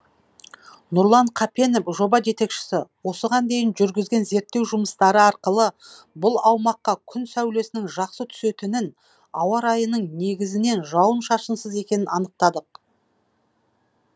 нұрлан қапенов жоба жетекшісі осыған дейін жүргізген зерттеу жұмыстары арқылы бұл аумаққа күн сәулесінің жақсы түсетінін ауа райының негізінен жауын шашынсыз екенін анықтадық